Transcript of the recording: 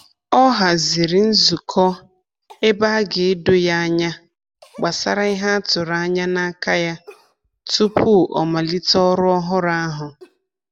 Ọ haziri nzukọ ebe a ga-edo ya anya gbasara ihe a tụrụ anya n'aka ya tupu ọ malite ọrụ ọhụrụ ahụ.